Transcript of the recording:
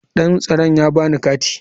Dan tsaron ya ba ni kati.